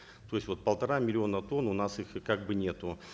то есть вот полтора миллиона тонн у нас их и как бы нету